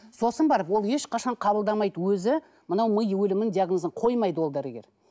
сосын барып ол ешқашан қабылдамайды өзі мынау ми өлімін диагнозын қоймайды ол дәрігер